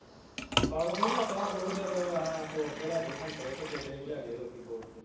ਫਲ ਫੁਲ ਲੱਗਾ ਬਹੁਤ ਜਿਆਦਾ ਵਾ ਹਾ ਤੋੜ ਕੇ ਲੈ ਗਏ ਸੰਤਰੇ ਤੇ ਕੇਲੇ ਵੀ ਲੈ ਗਏ ਲੋਕੀ ਤੋੜ ਕੇ